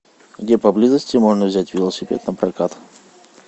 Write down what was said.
где поблизости можно взять велосипед напрокат